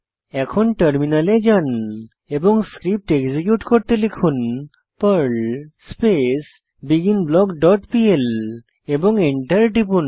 এখন টার্মিনালে যান এবং স্ক্রিপ্ট এক্সিকিউট করতে লিখুন Perl space begin block dot PL এবং এন্টার টিপুন